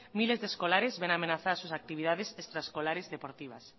miles de escolares ven amenazadas sus actividades extraescolares deportivas